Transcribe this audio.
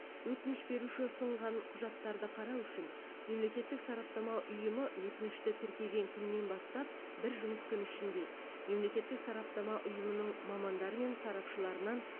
өтініш беруші ұсынған құжаттарды қарау үшін мемлекеттік сараптама ұйымы өтінішті тіркеген күннен бастап бір жұмыс күні ішінде мемлекеттік сараптама ұйымының мамандары мен сарапшыларынан